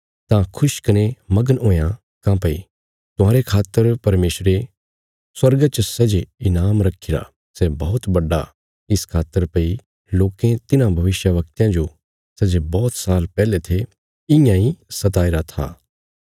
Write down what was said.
तां खुश कने मगन हुयां काँह्भई तुहांरे खातर परमेशरे स्वर्गा च सै जे ईनाम रक्खीरा सै बौहत बड्डा इस खातर भई लोकें तिन्हां भविष्यवक्तयां जो सै जे बौहत साल पैहले थे इयां इ सताईरा था